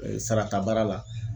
sarata baara la